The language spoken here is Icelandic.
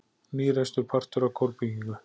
Nýreistur partur af kórbyggingu